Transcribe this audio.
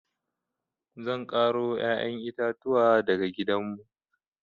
Zan ƙaro ƴaƴan itatuwa daga gidanmu.